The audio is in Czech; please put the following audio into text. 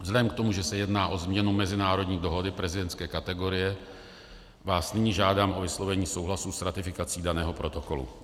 Vzhledem k tomu, že se jedná o změnu mezinárodní dohody prezidentské kategorie, vás nyní žádám o vyslovení souhlasu s ratifikací daného protokolu.